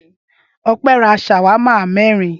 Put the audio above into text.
Ọpẹ́ ra ṣàwámà mẹ́rin.